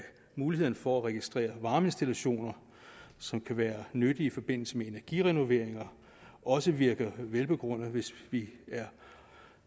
muligheden for at registrere varmeinstallationer som kan være nyttige i forbindelse med energirenoveringer også virker velbegrundet hvis vi er